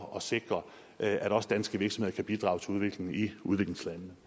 og sikre at også danske virksomheder kan bidrage til udviklingen i udviklingslandene